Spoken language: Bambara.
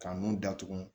Ka nun datugu